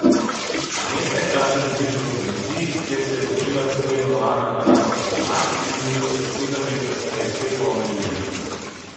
Že nekaj časa živite v Tuniziji, kjer se je začela tako imenovana arabska pomlad, ulice pa so sedem let kasneje spet polne ljudi.